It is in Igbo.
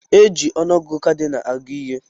Eji ọnụ ọgụgụ kadịnal agụ ihe